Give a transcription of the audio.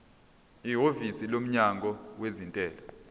ihhovisi lomnyango wezentela